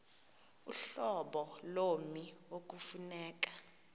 uhlobo lommi ekufuneka